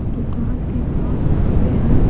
दुकान के पास खड़े हैं।